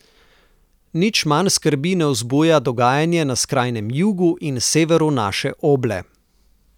Nič manj skrbi ne vzbuja dogajanje na skrajnem jugu in severu naše oble.